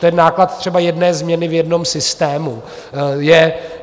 To je náklad třeba jedné změny v jednom systému.